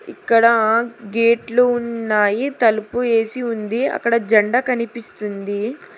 ఇక్కడ గేట్లు ఉన్నాయి తలుపు ఏసి ఉంది అక్కడ జండా కనిపిస్తుంది.